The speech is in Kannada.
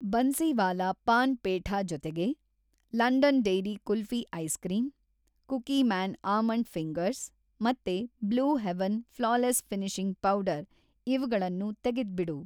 ಬನ್ಸಿವಾಲಾ ಪಾನ್‌ ಪೇಠಾ ಜೊತೆಗೆ London dairy kulfi ice cream, Cookieman almond fingers ಮತ್ತೆ Blue Heaven flawless finishing powder ಇವ್ಗಳನ್ನೂ ತೆಗೆದ್ಬಿಡು.